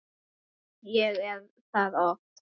Jú, ég er það oft.